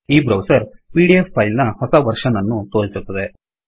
ಈ browser PDF ಫೈಲ್ನ ಹೊಸ ವರ್ಶನ್ ಅನ್ನು ತೋರಿಸುತ್ತದೆ